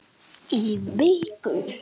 Í viku.